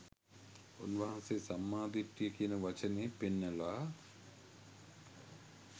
උන්වහන්සේ සම්මා දිට්ඨිය කියන වචනේ පෙන්වලා